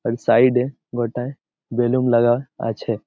এর সাইড -এ বোটায় বেলুন লাগা আছে।